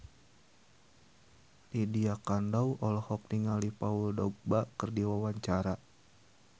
Lydia Kandou olohok ningali Paul Dogba keur diwawancara